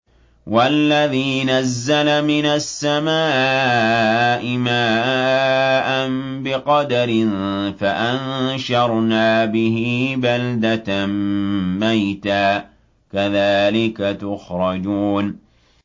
وَالَّذِي نَزَّلَ مِنَ السَّمَاءِ مَاءً بِقَدَرٍ فَأَنشَرْنَا بِهِ بَلْدَةً مَّيْتًا ۚ كَذَٰلِكَ تُخْرَجُونَ